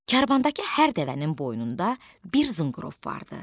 Karvandakı hər dəvənin boynunda bir zınqırov vardı.